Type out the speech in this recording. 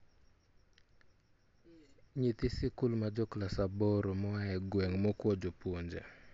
nyithi sikul majoclass aboromoa e gweng' mokuo; jopuonje